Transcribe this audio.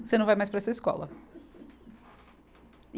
Você não vai mais para essa escola.